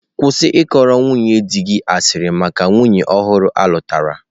Kwụsị ịkọrọ nwunye di gị asịrị maka nwunye ọhụrụ alutara.